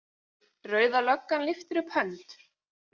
Rauða löggan lyftir upp hönd.